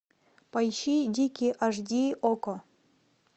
поищи дикий аш ди окко